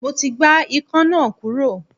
Mo ti gbá Ikan náà kúrò.